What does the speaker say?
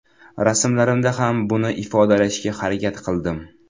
Rasmlarimda ham buni ifodalashga harakat qildim.